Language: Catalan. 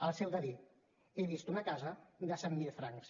els heu de dir he vist una casa de cent mil francs